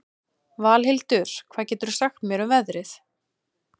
Valhildur, hvað geturðu sagt mér um veðrið?